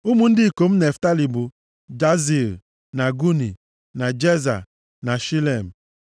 Ụmụ ndị ikom Naftalị bụ, Jaziil, na Guni, na Jeza, na Shilem.